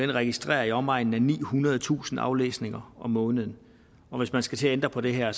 det registrerer i omegnen af nihundredetusind aflæsninger om måneden og hvis man skal til at ændre på det her er